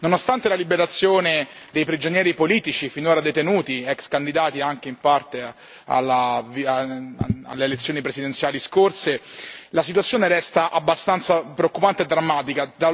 Nonostante la liberazione dei prigionieri politici finora detenuti, ex candidati anche in parte alle elezioni presidenziali scorse, la situazione resta abbastanza preoccupante e drammatica.